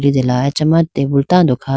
litela achama tabool tando kha.